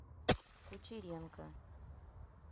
кучеренко